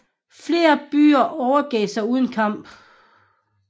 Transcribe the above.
Flere byer overgav sig uden uden kamp